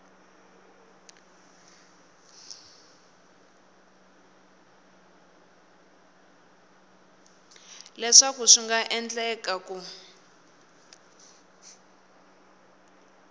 leswaku swi nga endleka ku